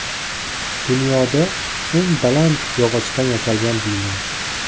Dunyoda eng baland yog‘ochdan yasalgan bino .